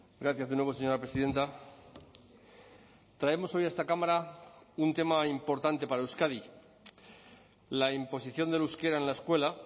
gracias de nuevo señora presidenta traemos hoy a esta cámara un tema importante para euskadi la imposición del euskera en la escuela